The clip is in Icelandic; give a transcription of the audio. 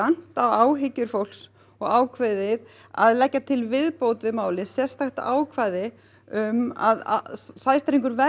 á áhyggjur fólks og ákveðið að leggja til viðbót við málið sérstakt ákvæði um að sæstrengur verði